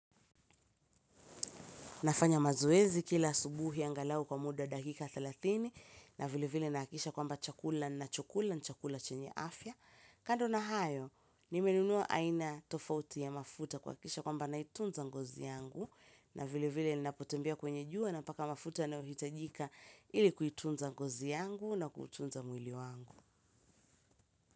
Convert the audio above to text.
Nafanya mazoezi kila asubuhi angalau kwa muda dakika thelathini na vile vile nahakikisha kwamba chakula nachokula ni chakula chenye afya. Kando na hayo, nimenunua aina tofauti ya mafuta kuhakikisha kwamba naitunza ngozi yangu na vilevile napotembea kwenye jua napaka mafuta yanayohitajika ili kuitunza ngozi yangu na kuutunza mwili wangu.